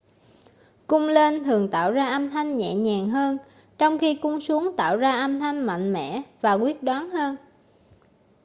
cung lên thường tạo ra âm thanh nhẹ nhàng hơn trong khi cung xuống tạo ra âm thanh mạnh mẽ và quyết đoán hơn